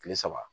Kile saba